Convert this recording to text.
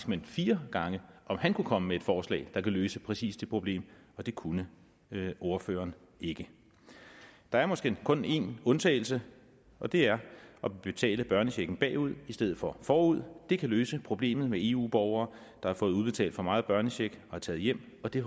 men fire gange om han kunne komme med et forslag der kan løse præcis det problem og det kunne ordføreren ikke der er måske kun en undtagelse og det er at betale børnechecken bagud i stedet for forud det kan løse problemet med eu borgere der har fået udbetalt for meget børnecheck og er taget hjem og det